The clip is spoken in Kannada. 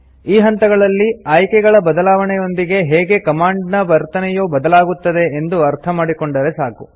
ಈ ಹಂತದಲ್ಲಿ ಆಯ್ಕೆಗಳ ಬದಲಾವಣೆಯೊಂದಿಗೆ ಹೇಗೆ ಕಮಾಂಡ್ ನ ವರ್ತನೆಯು ಬದಲಾಗುತ್ತದೆ ಎಂದು ಅರ್ಥಮಾಡಿ ಕೊಂಡರೆ ಸಾಕು